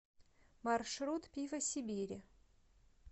маршрут пиво сибири